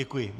Děkuji.